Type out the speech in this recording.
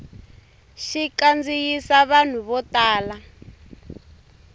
xi kandziyisa vanhu vo tala